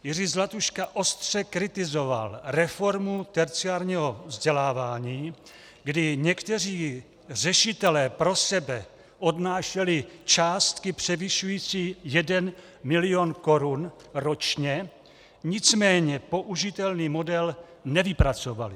Jiří Zlatuška ostře kritizoval reformu terciárního vzdělávání, kdy někteří řešitelé pro sebe odnášeli částky převyšující 1 mil. korun ročně, nicméně použitelný model nevypracovali.